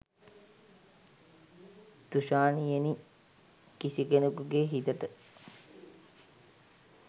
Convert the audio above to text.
තුෂාණියෙනි කිසි කෙනෙකුගෙ හිතට